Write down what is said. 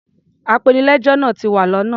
Apenilẹ́jọ́ náa ti wa lọ́nà.